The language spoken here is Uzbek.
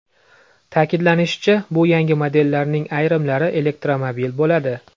Ta’kidlanishicha, bu yangi modellarning ayrimlari elektromobil bo‘ladi.